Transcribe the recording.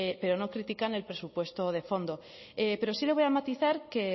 pero no critican el presupuesto de fondo pero sí le voy a matizar que